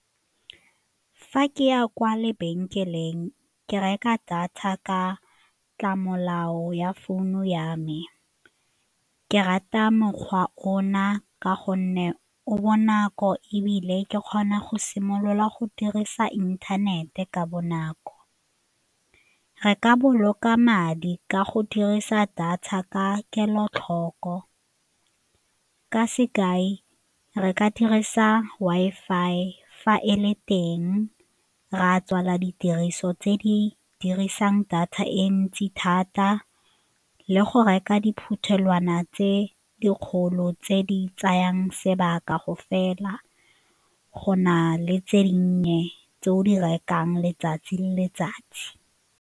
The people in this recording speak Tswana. Fa ke ya kwa lebenkeleng, ke reka data ka ya founu ya me ke rata mekgwa ona ka gonne o bonako ebile ke kgona go simolola go dirisa inthanete ka bonako. Re ka boloka madi ka go dirisa data ka kelotlhoko, ka sekai, re ka dirisa Wi-Fi fa e le teng, re a tswala ditiriso tse di dirisang data e ntsi thata le go reka diphuthelwana tse dikgolo tse di tsayang sebaka go fela go na le tse dinnye tse o di rekang letsatsi le letsatsi.